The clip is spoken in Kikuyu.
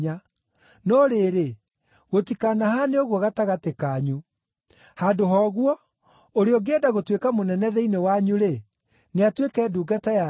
No rĩrĩ, gũtikanahaane ũguo gatagatĩ kanyu. Handũ ha ũguo, ũrĩa ũngĩenda gũtuĩka mũnene thĩinĩ wanyu-rĩ, nĩ atuĩke ndungata yanyu,